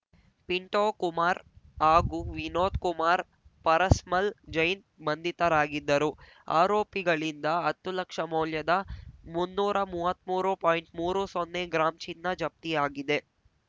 ಪಿಂಟೋ ಕುಮಾರ್‌ ಹಾಗೂ ವಿನೋದ್‌ ಕುಮಾರ್‌ ಪರಸ್ಮಲ್‌ ಜೈನ್‌ ಬಂಧಿತರಾಗಿದ್ದರು ಆರೋಪಿಗಳಿಂದ ಹತ್ತು ಲಕ್ಷ ಮೌಲ್ಯದ ಮುನ್ನೂರಾ ಮೂವತ್ತ್ಮೂರು ಪಾಯಿಂಟ್ ಮೂರು ಸೊನ್ನೆ ಗ್ರಾಂ ಚಿನ್ನ ಜಪ್ತಿಯಾಗಿದೆ